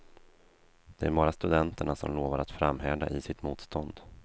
Det är bara studenterna som lovar att framhärda i sitt motstånd.